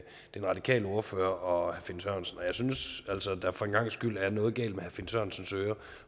radikale ordfører og herre finn sørensen og jeg synes altså at der for en gangs skyld er noget galt med herre finn sørensens ører